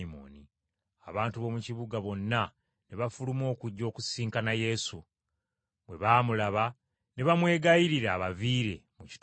Abantu b’omu kibuga bonna ne bafuluma okujja okusisinkana Yesu. Bwe baamulaba ne bamwegayirira abaviire mu kitundu kyabwe.